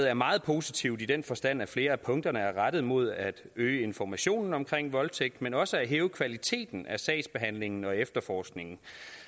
er meget positivt i den forstand at flere af punkterne er rettet mod at øge informationen omkring voldtægt men også at hæve kvaliteten af sagsbehandlingen og efterforskningen